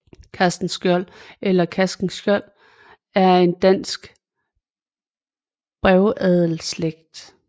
Castenschiold eller Castenskiold er en dansk brevadelsslægt